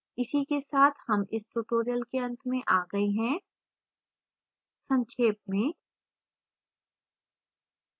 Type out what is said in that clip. इसी के साथ हम इस tutorial के अंत में आ गए हैं संक्षेप में